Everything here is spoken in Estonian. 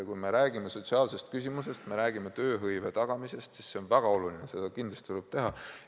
Kui me räägime sotsiaalsetest probleemidest, räägime tööhõive tagamisest, siis see on väga oluline, seda kindlasti tuleb teha.